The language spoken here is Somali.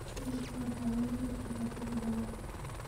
Kaabashka waxaa laga heli karaa tiro badan.